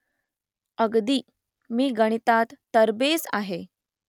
अगदी . मी गणितात तरबेज आहे